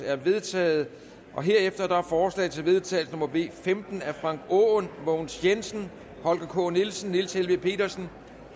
er vedtaget herefter er forslag til vedtagelse nummer v femten af frank aaen mogens jensen holger k nielsen niels helveg petersen